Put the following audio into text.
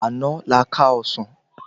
Àná la ká ọsán